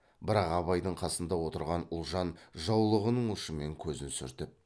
бірақ абайдың қасында отырған ұлжан жаулығының ұшымен көзін сүртіп